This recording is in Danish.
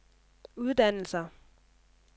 uddannelser